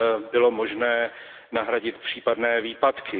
bylo možné nahradit případné výpadky.